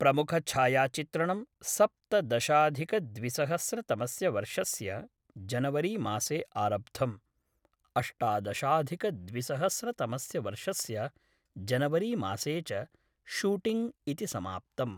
प्रमुखछायाचित्रणं सप्तदशाधिकद्विसहस्रतमस्य वर्षस्य जनवरीमासे आरब्धम्, अष्टादशाधिकद्विसहस्रतमस्य वर्षस्य जनवरीमासे च शूटिङ्ग् इति समाप्तम्।